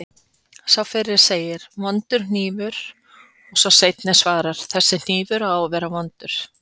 Sá fyrri segir: Vondur hnífur og sá seinni svarar: Þessi hnífur á að vera vondur